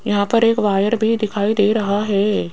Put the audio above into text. यहां पर एक वायर भी दिखाई दे रहा है।